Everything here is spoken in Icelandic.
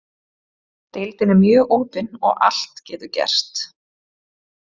Deildin er mjög opin og allt getur gerst.